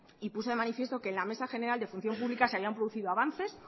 y puso de manifiesto que en la mesa general de función pública se habían producido avances